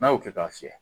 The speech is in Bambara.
N'a y'o kɛ k'a fiyɛ